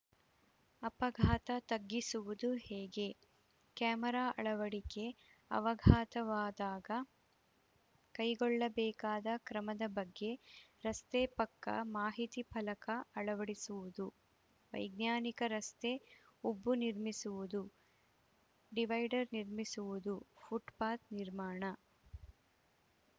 ಅಪಘಾತ ತಗ್ಗಿಸುವುದು ಹೇಗೆ ಕ್ಯಾಮರಾ ಅಳವಡಿಕೆ ಅವಘಾತವಾದಾಗ ಕೈಗೊಳ್ಳಬೇಕಾದ ಕ್ರಮದ ಬಗ್ಗೆ ರಸ್ತೆ ಪಕ್ಕ ಮಾಹಿತಿ ಫಲಕ ಅಳವಡಿಸುವುದು ವೈಜ್ಞಾನಿಕ ರಸ್ತೆ ಉಬ್ಬು ನಿರ್ಮಿಸುವುದು ಡಿವೈಡರ್‌ ನಿರ್ಮಿಸುವುದು ಫುಟ್‌ಪಾತ್‌ ನಿರ್ಮಾಣ